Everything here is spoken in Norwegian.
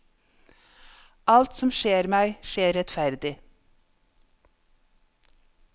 Alt som skjer meg, skjer rettferdig.